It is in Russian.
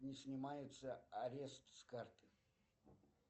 не снимается арест с карты